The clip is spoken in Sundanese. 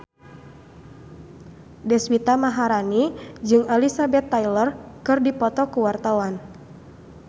Deswita Maharani jeung Elizabeth Taylor keur dipoto ku wartawan